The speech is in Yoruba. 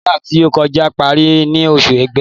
Ràmàdáànì tí ó kọjá parí ní oṣù Igbe.'